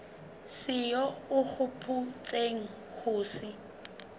seo o hopotseng ho se